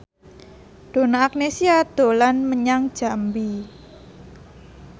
Donna Agnesia dolan menyang Jambi